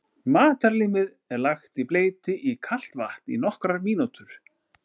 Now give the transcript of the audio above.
Matarlímið er lagt í bleyti í kalt vatn í nokkrar mínútur.